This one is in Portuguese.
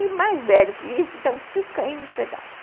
E mais velho que isso, estão tudo caindo aos pedaços.